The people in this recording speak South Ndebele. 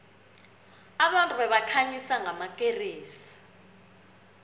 abantu babekhanyisa ngamakeresi